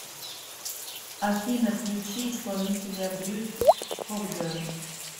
афина включи исполнителя брюс кокберн